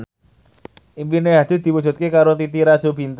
impine Hadi diwujudke karo Titi Rajo Bintang